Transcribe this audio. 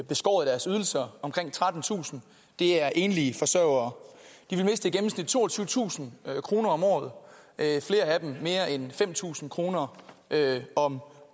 beskåret deres ydelser omkring trettentusind er enlige forsørgere de vil miste i gennemsnit toogtyvetusind kroner om året flere af dem mere end fem tusind kroner om